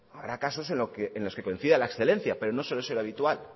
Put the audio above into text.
habrá casos en los que coincida la excelencia pero no suele ser lo habitual